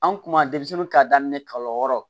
An kuma denmisɛnnin k'a daminɛ kalo wɔɔrɔ